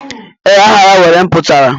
Ee, aha ya nwere mputara.